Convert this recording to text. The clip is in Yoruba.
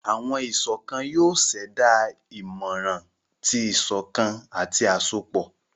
Awọn iṣọkan yoo ṣẹda imọran ti iṣọkan ati asopọ.